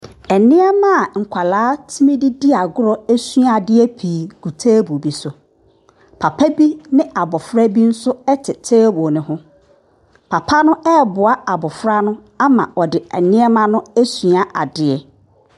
Nneɛma nkwadaa tumi de di agorɔ sua adeɛ pi gu table bi so. Papa bi ne abɔfra bi nso te table ne ho, papa no ɛreboa abɔfra no ma ɔde nneɛma no asua adeɛ.